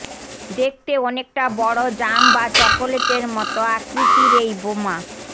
দেখতে অনেকটা বড় জাম বা চকলেটের মতো আকৃতির এই বোমা